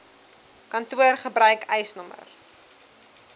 kantoor gebruik eisnr